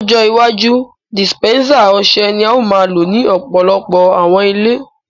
Lọjọ iwaju, disipẹnsa ọṣẹ ni ao maa lo ni ọpọlọpọ̀ awọn ilẹ̀.